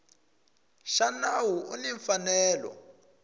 xa nawu u ni mfanelo